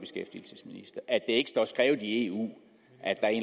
ikke står skrevet i eu at der er en